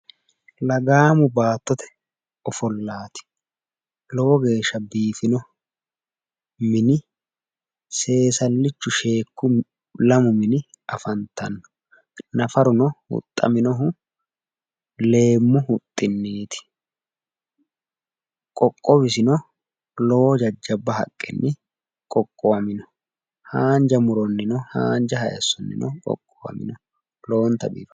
Lagaamu baattote ofollaati lowo geeshsha biifino mini seesallichu sheekku lamu mini afantanno. nafaru no huxxaminohu leemmu huxxinniiti. qoqqowisino lowo jajjabba haqqenni qoqqowamino. haanja muronnino haanja haayiissonnino lowonta biifanno.